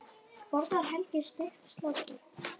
Borðar Helgi steikt slátur?